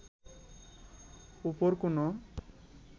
উপর কোনো